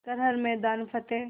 कर हर मैदान फ़तेह